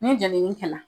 Ni jenini kɛla